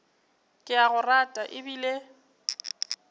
ke a go rata ebile